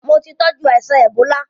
Mo ti tọ́jú aìsàn èbólá.